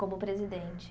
Como presidente.